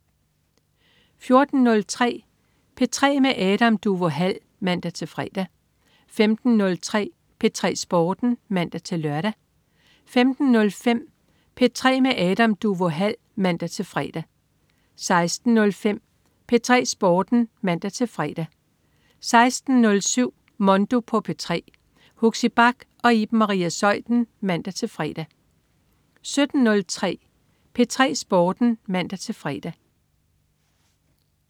14.03 P3 med Adam Duvå Hall (man-fre) 15.03 P3 Sporten (man-lør) 15.05 P3 med Adam Duvå Hall (man-fre) 16.05 P3 Sporten (man-fre) 16.07 Mondo på P3. Huxi Bach og Iben Maria Zeuthen (man-fre) 17.03 P3 Sporten (man-fre)